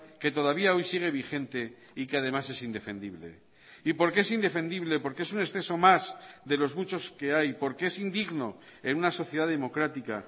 que todavía hoy sigue vigente y que además es indefendible y porque es indefendible porque es un exceso más de los muchos que hay porque es indigno en una sociedad democrática